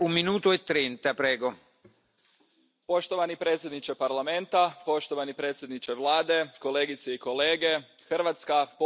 Poštovani predsjedniče Parlamenta, poštovani predsjedniče Vlade, kolegice i kolege, Hrvatska povijesno i kulturno pripada Europi.